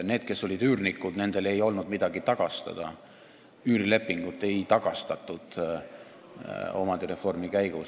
Nendele, kes olid üürnikud, ei olnud midagi tagastada, üürilepingut ei tagastatud omandireformi käigus.